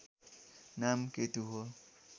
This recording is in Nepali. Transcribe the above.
नाम केतु हो